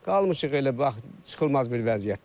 Qalmışıq elə bax çıxılmaz bir vəziyyətdə.